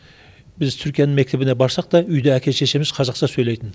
біз түркияның мектебіне барсақ та үйде әке шешеміз қазақша сөйлейтін